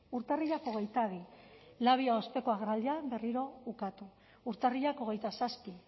urtarrilak hogeita bi labia osteko agerraldian berriro ukatu urtarrilak hogeita zazpi